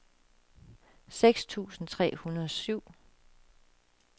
seks tusind tre hundrede og syv